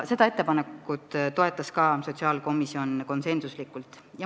Seda ettepanekut toetas sotsiaalkomisjon ka konsensuslikult.